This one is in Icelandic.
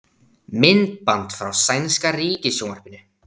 Myndband frá sænska ríkissjónvarpinu